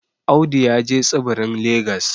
Audu ya je tsibirin legas